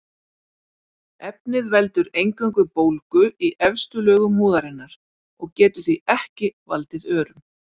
Efnið veldur eingöngu bólgu í efstu lögum húðarinnar og getur því ekki valdið örum.